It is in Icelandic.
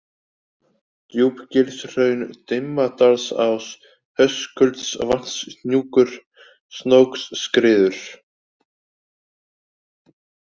Djúpagilshraun, Dimmadalsás, Höskuldsvatnshnjúkur, Snóksskriður